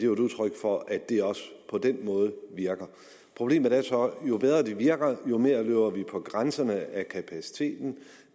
jo et udtryk for at det også på den måde virker problemet er så at jo bedre det virker jo mere løber vi på grænserne af kapaciteten